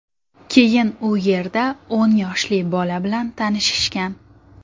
Keyin u yerda o‘n yoshli bola bilan tanishishgan.